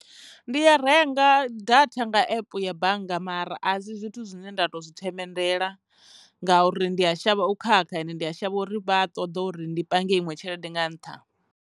Ndi ya renga data nga epe ya bannga mara a si zwithu zwine nda to zwi themendela ngauri ndi a shavha u khakha ende ndi a shavha uri vha ṱoḓa uri ndi pange iṅwe tshelede nga ntha.